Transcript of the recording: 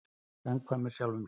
Samkvæmur sjálfum sér.